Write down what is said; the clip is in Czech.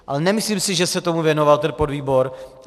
Ale nemyslím si, že se tomu věnoval ten podvýbor.